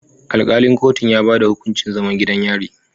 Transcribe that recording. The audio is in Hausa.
Alkalin kotun ya bayar da hukuncin zaman gidan yari